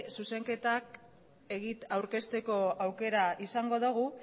zuzenketak aurkezteko aukera izango dugu